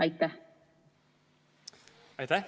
Aitäh!